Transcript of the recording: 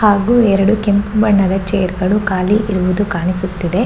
ಹಾಗು ಎರಡು ಕೆಂಪು ಬಣ್ಣದ ಚೇರ್ಗ ಳು ಖಾಲಿ ಇರುವುದು ಕಾಣಿಸುತ್ತಿದೆ .